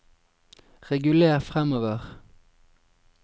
reguler framover